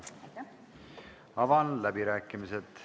Avan läbirääkimised.